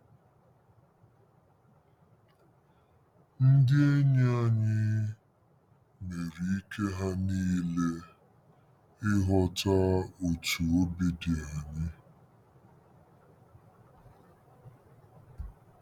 Ndị enyi anyị mere ike ha niile ịghọta otú obi dị anyị. ”